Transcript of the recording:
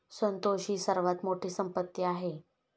संतोष ही सर्वात मोठी संपत्ती आहे,